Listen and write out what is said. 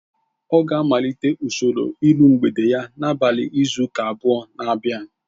Ọ ga-amalite usoro iru mgbede ya n'abalị izu ụka abụọ na abia